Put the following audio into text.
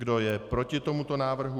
Kdo je proti tomuto návrhu?